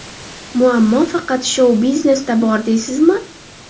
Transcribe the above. Muammo faqat shou-biznesda bor, deysizmi?